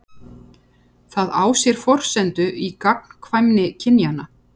Það á sér forsendu í gagnkvæmni kynjanna.